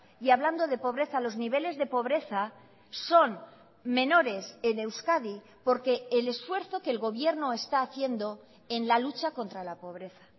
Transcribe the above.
y hablando de pobreza los niveles de pobreza son menores en euskadi porque el esfuerzo que el gobierno está haciendo en la lucha contra la pobreza